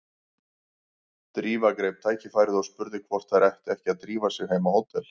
Drífa greip tækifærið og spurði hvort þær ættu ekki að drífa sig heim á hótel.